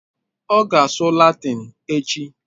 Ọ ga-asụ Latịn echi